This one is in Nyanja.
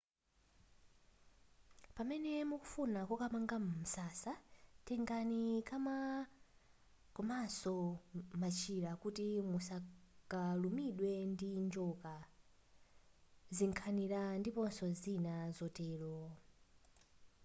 pamene mukufuna kokamanga msasa tengani kama komanso machira kuti musakalumidwe ndi njoka zinkhanira ndiponso zina zotero